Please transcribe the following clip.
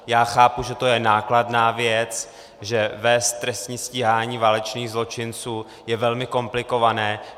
Já chápu, že to je nákladná věc, že vést trestní stíhání válečných zločinců je velmi komplikované.